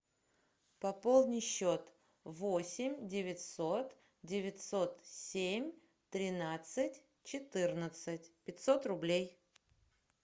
пополни счет восемь девятьсот девятьсот семь тринадцать четырнадцать пятьсот рублей